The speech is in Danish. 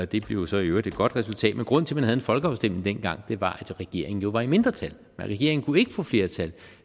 det blev så i øvrigt et godt resultat men grunden til man en folkeafstemning dengang var at regeringen jo var i mindretal regeringen kunne ikke få flertal